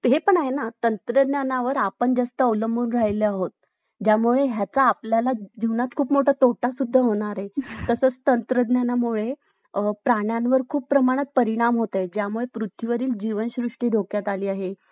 हे पण आहे ना तंत्रज्ञानावर आपण जास्त अवलंबून राहिलो आहोत ज्यामुळे याचा आपल्याला जीवनात खूप मोठा तोटा सुद्धा होणार आहे तसेच तंत्रज्ञानामुळे प्राण्यांवर खूप मोठ्या प्रमाणात परिणाम होत आहेत ज्यामुळे पृथ्वीवरील जीवनसृष्टी धोक्यात आली आहे